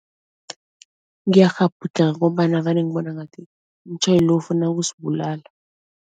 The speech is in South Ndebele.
Ngiyakghabhudlha ngombana vane ngibone ngathi umtjhayeli lo ufuna ukusibulala.